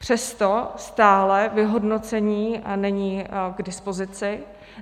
Přesto stále vyhodnocení není k dispozici.